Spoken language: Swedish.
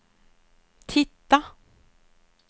titta